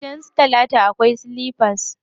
Gidan su talatu akwai silifas.